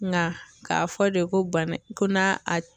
Nga k'a fɔ de ko bana ko n'a a